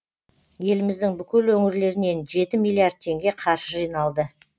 еліміздің бүкіл өңірлерінен жеті миллиард теңге қаржы жиналды